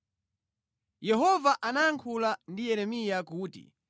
Yehova anayankhula ndi Yeremiya kuti,